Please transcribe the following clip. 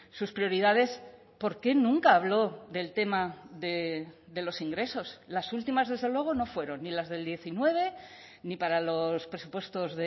sus prioridades por qué nunca habló del tema de los ingresos las últimas desde luego no fueron ni las del diecinueve ni para los presupuestos